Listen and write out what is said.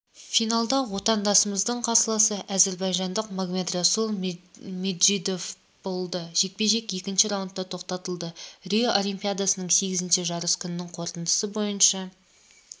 финалда отандасымыздың қарсыласы әзірбайжандықмагомедрасул меджидовболды жекпе-жек екінші раундта тоқтатылды рио олимпиадасының сегізінші жарыс күнінің қорытындысы бойынша